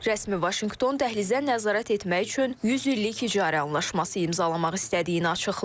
Rəsmi Vaşinqton dəhlizə nəzarət etmək üçün 100 illik icarə anlaşması imzalamaq istədiyini açıqlayıb.